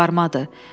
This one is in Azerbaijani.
Qabarımadı.